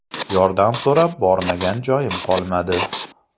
Yordam so‘rab bormagan joyim qolmadi.